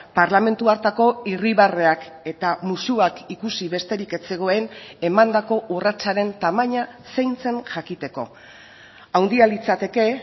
parlamentu hartako irribarreak eta musuak ikusi besterik ez zegoen emandako urratsaren tamaina zein zen jakiteko handia litzateke